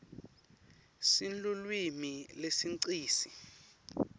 sinlulwimi lesinqisi